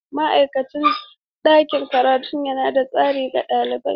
Ma'aikacin ɗakin karatu yana da tsauri ga ɗalibai.